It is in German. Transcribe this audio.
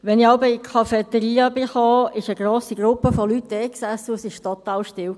Wenn ich jeweils in die Cafeteria kam, sass dort eine grosse Gruppe von Leuten, und es war total still.